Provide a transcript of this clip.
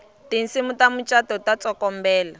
tinsimu ta mucato ta tsokombela